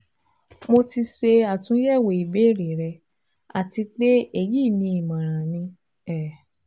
Mo ti ṣe atunyẹwo ibeere rẹ ati pe eyi ni imọran mi um